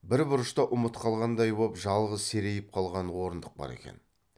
бір бұрышта ұмыт қалғандай боп жалғыз серейіп қалған орындық бар екен